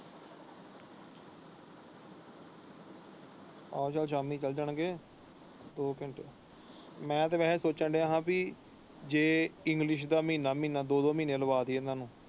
ਚੱਲੇ ਜਾਣ ਗਏ ਦੋ ਘੰਟੇ ਮੈਂ ਤੇ ਵੈਸੇ ਸੋਚਣ ਡਾਯਾ ਹਾਂ ਜੇ ਇੰਗਲਿਸ਼ ਦਾ ਮਹੀਨਾ ਮਹੀਨਾ ਦੋ ਦੋ ਮਹੀਨੇ ਲਵਾਂ ਦਇਆ ਇਹਨਾਂ ਨੂੰ।